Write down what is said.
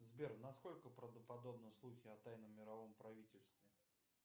сбер насколько правдоподобны слухи о тайном мировом правительстве